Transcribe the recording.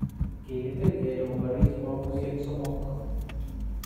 Kikitil kele koboris mabusyeek somok